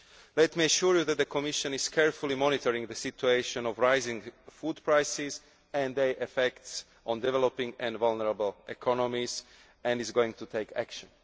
Let me assure you that the Commission is carefully monitoring the situation of rising food prices and the effects on developing and vulnerable economies, and is going to take action.